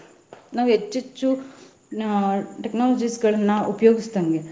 ನಾವ್ ಹೆಚ್ಚೆಚ್ಚು ಅಹ್ technology ಗಳನ್ನ ಉಪಯೋಗಿಸ್ದಂಗೆ.